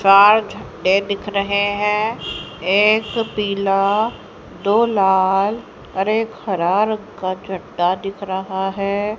चार झंडे दिख रहे हैं एक पिला दो लाल और एक हरा रंग का चड्ढा दिख रहा है।